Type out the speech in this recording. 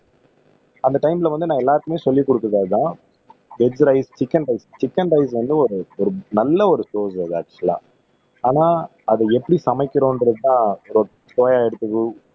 அந்த டைம்ல வந்து நான் எல்லாருக்குமே சொல்லிக் கொடுத்தது அதுதான் egg rice chicken rice chicken rice வந்து ஒரு நல்ல ஒரு சோர்ஸ் அது ஆக்சுவலா ஆனா அத எப்படி சமைக்கிறோன்றதுதான்